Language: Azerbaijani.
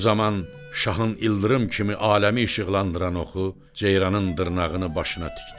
Bu zaman şahın ildırım kimi aləmi işıqlandıran oxu ceyranın dırnağını başına tikdi.